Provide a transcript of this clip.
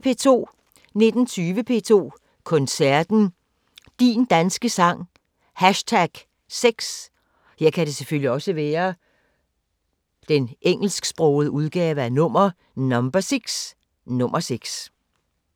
19:20: P2 Koncerten: Din Danske Sang #6.